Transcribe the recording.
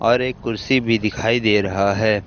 और एक कुर्सी भी दिखाई दे रहा है।